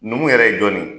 Numu yɛrɛ ye jɔn de ye